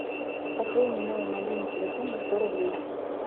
пополни мой мобильный телефон на сто рублей